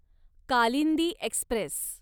Kalindi Express